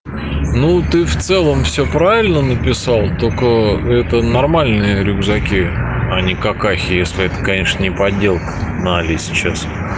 ну ты в целом все правильно написал только это нормальные рюкзаки они какахи если это конечно не подделка на али сейчас